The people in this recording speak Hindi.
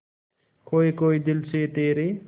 खोए खोए दिल से तेरे